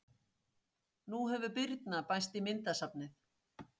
Nú hefur Birna bæst í myndasafnið.